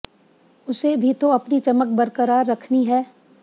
उसे भी तो अपनी चमक बरकरार रखनी है